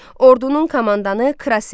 Ordunun komandanı Kras idi.